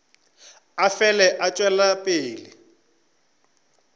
a fele a tšwela pele